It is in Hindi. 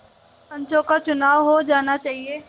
पंचों का चुनाव हो जाना चाहिए